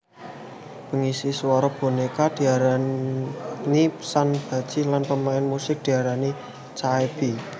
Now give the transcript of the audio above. Pengisi swara boneka diaranisanbaji lan pemain musik diarani chaebi